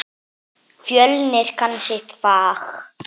Fjölnir kann sitt fag.